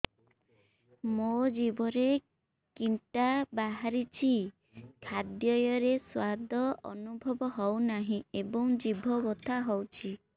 ମୋ ଜିଭରେ କିଟା ବାହାରିଛି ଖାଦ୍ଯୟରେ ସ୍ୱାଦ ଅନୁଭବ ହଉନାହିଁ ଏବଂ ଜିଭ ବଥା ହଉଛି